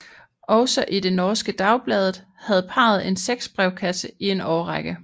Også i det norske Dagbladet havde parret en sexbrevkasse i en årrække